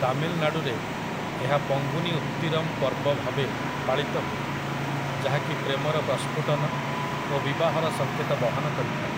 ତାମିଲନାଡୁରେ, ଏହା ପଙ୍ଗୁନି ଉତ୍ତିରମ୍ ପର୍ବ ଭାବେ ପାଳିତ ହୁଏ, ଯାହାକି ପ୍ରେମର ପ୍ରସ୍ଫୁଟନ ଓ ବିବାହର ସଙ୍କେତ ବହନ କରିଥାଏ ।